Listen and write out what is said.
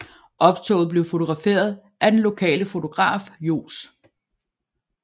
Optoget blev fotograferet af den lokale fotograf Johs